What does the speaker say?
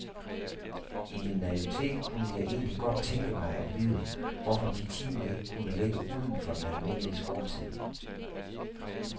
I min naivitet kunne jeg egentlig godt tænke mig at vide, hvorfor de timer ikke kunne ligge uden for den almindelige skoletid.